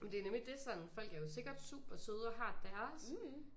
Jamen det er nemlig det sådan folk er jo sikkert supersøde og har deres